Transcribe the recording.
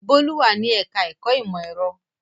Bólú wà ní ẹ̀ka-ẹ̀kọ́ ìmọ̀-ẹ̀rọ.